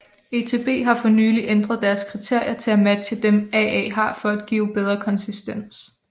ETB har for nylig ændret deres kriterier til at matche dem AA har for at give bedre konsistens